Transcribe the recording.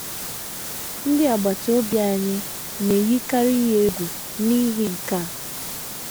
Ndị agbata obi anyị na - eyikarị ya egwu n’ihi nke a.